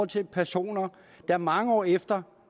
til personer der mange år efter